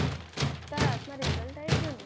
તારા હાથમાં result આવી ગયું ને?